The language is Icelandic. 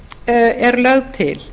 er lögð til